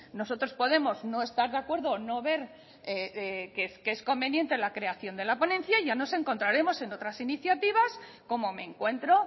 nosotros podemos no estar de acuerdo o no ver que es conveniente la creación de la ponencia y ya nos encontraremos en otras iniciativas como me encuentro